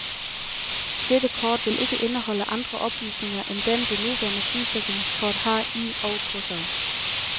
Dette kort vil ikke indeholde andre oplysninger, end dem det nuværende sygesikringskort har i og på sig.